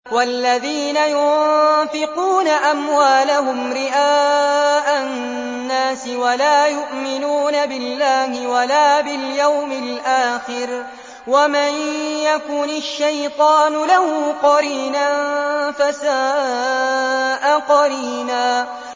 وَالَّذِينَ يُنفِقُونَ أَمْوَالَهُمْ رِئَاءَ النَّاسِ وَلَا يُؤْمِنُونَ بِاللَّهِ وَلَا بِالْيَوْمِ الْآخِرِ ۗ وَمَن يَكُنِ الشَّيْطَانُ لَهُ قَرِينًا فَسَاءَ قَرِينًا